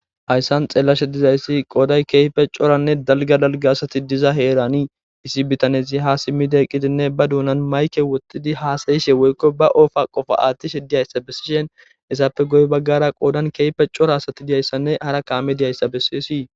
hayssan xeelashe dizayssi qooday keyfe coranne dalga dalga asati diza heerani issi bitanezi ha simmide qqidinne ba duunan mayke wottidi haasayishe woykko ba oofa qofo aathtishe diyayssa bessishen isappe goy baggara qoodan keyfe cora asati diyayssanne hara kaami diyayssa bessesi